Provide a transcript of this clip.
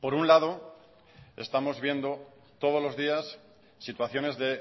por un lado estamos viendo todos los días situaciones de